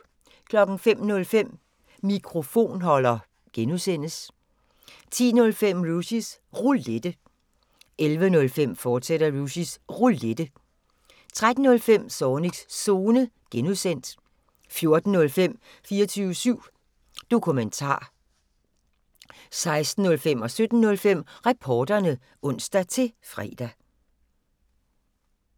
05:05: Mikrofonholder (G) 10:05: Rushys Roulette 11:05: Rushys Roulette, fortsat 13:05: Zornigs Zone (G) 14:05: 24syv Dokumentar 16:05: Reporterne (ons-fre) 17:05: Reporterne (ons-fre)